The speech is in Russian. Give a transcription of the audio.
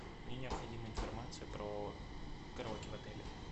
мне необходима информация про караоке в отеле